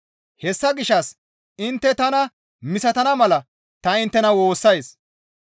Hessa gishshas intte tana misatana mala ta inttena woossays.